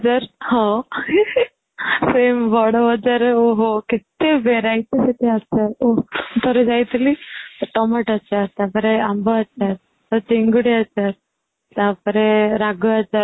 ହଁ Same ବଡ଼ବଜ଼ାରରେ ଓ ହୋ କେତେ variety ସେଠି ଆଚାର ଓଃ ଥରେ ଯାଇ ଥିଲି ଟମାଟୋ ଆଚାର ତାପରେ ଆମ୍ବ ଆଚାର ଚିଙ୍ଗୁଡ଼ି ଆଚାର ତା ପରେ ରାଗ ଆଚାର